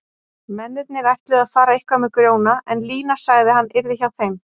Mennirnir ætluðu að fara eitthvað með Grjóna en Lína sagði að hann yrði hjá þeim.